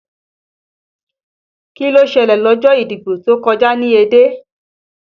Kí ló ṣẹlẹ̀ lọ́jọ́ ìdìbò tó kọjá ní Ẹdẹ?